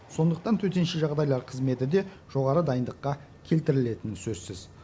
сондықтан төтенше жағдайлар қызметі де жоғары дайындыққа келтірілетіні сөзсіз